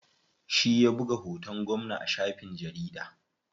Shi ya buga hoton gwamna a shafin jarida.